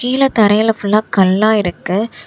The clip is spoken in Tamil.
கீழ தரைல ஃபுல்லா கல்லா இருக்கு.